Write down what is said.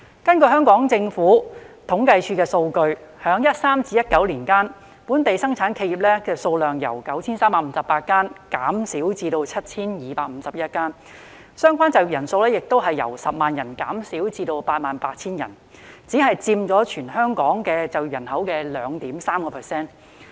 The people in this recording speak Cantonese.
根據政府統計處的數據，在2013年至2019年間，本地生產企業數量由 9,358 間減少至 7,251 間，相關就業人數亦由10萬人減少至 88,000 人，只佔全港總就業人口的 2.3%。